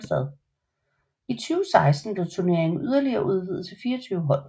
I 2016 blev turneringen yderligere udvidet til 24 hold